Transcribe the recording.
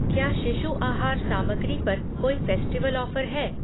क्या शिशु आहार सामग्री पर कोई फ़ेस्टिवल ऑफ़र है?